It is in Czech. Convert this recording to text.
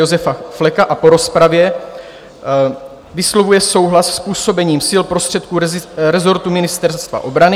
Josefa Fleka a po rozpravě vyslovuje souhlas s působením sil prostředků rezortu Ministerstva obrany;